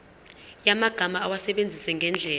yamagama awasebenzise ngendlela